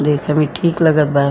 देखे में ठीक लगत बा।